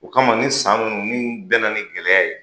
O kama ni san minnu n'u bɛna ni gɛlɛya ye